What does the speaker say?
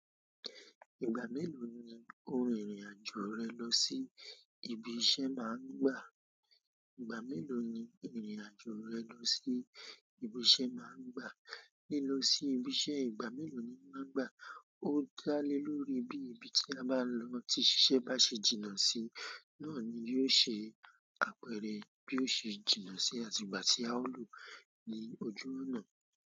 Ìgbà mélòó ni ó rìnrìn àjò rẹ lọ sí ibi iṣẹ́ máa ń gbà? Ìgbà mélòó ni ìrìn àjò rẹ lọ sí ibi iṣẹ́ máa ń gbà? Lílọ sí ibi iṣẹ́ ìgbà mélòó ni o máa ń gbà? Ó dá lé lórí bí ibi tí a bá lọ ti ṣíṣe bá ṣe jìnnà sí, náà ni yóò ṣe apẹ̀rẹ̀ bí ó ṣe jìnnà sí, àti ìgbà tí a ó lò ó ní ojú ọ̀nà.